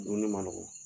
Dumuni man nɔgɔn